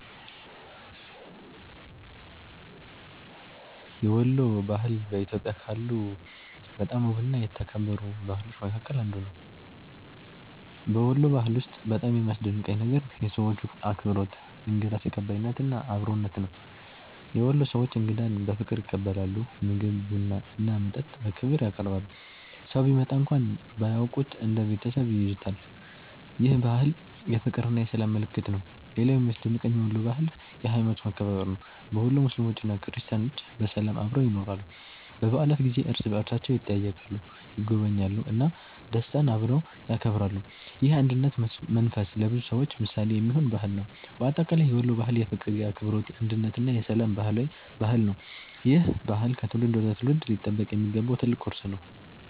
የወሎ ባህል በኢትዮጵያ ካሉ በጣም ውብና የተከበሩ ባህሎች መካከል አንዱ ነው። በወሎ ባህል ውስጥ በጣም የሚያስደንቀኝ ነገር የሰዎቹ አክብሮት፣ እንግዳ ተቀባይነት እና አብሮነት ነው። የወሎ ሰዎች እንግዳን በፍቅር ይቀበላሉ፤ ምግብ፣ ቡና እና መጠጥ በክብር ያቀርባሉ። ሰው ቢመጣ እንኳን ባያውቁት እንደ ቤተሰብ ይይዙታል። ይህ ባህል የፍቅርና የሰላም ምልክት ነው። ሌላው የሚያስደንቀኝ የወሎ ባህል የሀይማኖት መከባበር ነው። በወሎ ሙስሊሞችና ክርስቲያኖች በሰላም አብረው ይኖራሉ። በበዓላት ጊዜ እርስ በእርሳቸው ይጠያየቃሉ፣ ይጎበኛሉ እና ደስታን አብረው ያከብራሉ። ይህ የአንድነት መንፈስ ለብዙ ሰዎች ምሳሌ የሚሆን ባህል ነው። በአጠቃላይ የወሎ ባህል የፍቅር፣ የአክብሮት፣ የአንድነት እና የሰላም ባህል ነው። ይህ ባህል ከትውልድ ወደ ትውልድ ሊጠበቅ የሚገባው ትልቅ ቅርስ ነው።